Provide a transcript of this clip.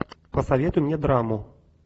посоветуй мне драму